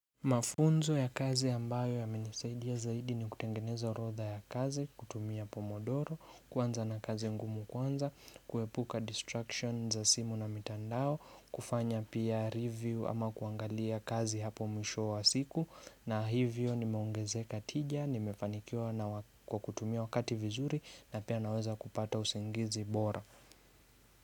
Mafunzo ya kazi ambayo yamenisaidia zaidi ni kutengeneza orodha ya kazi, kutumia pomodoro, kwanza na kazi ngumu kwanza, kuepuka distractions za simu na mitandao, kufanya pia review ama kuangalia kazi hapo mwisho wa siku, na hivyo nimeongezeka tija, nimefanikiwa na kwa kutumia wakati vizuri na pia naweza kupata usingizi bora.